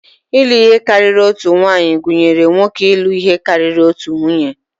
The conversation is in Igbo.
Ịlụ ihe karịrị otu nwaanyị gụnyere nwoke ịlụ ihe karịrị otu nwunye